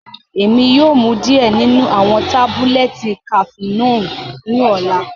Emi yoo mu diẹ ninu awọn tabulẹti cafenolu ni ọla.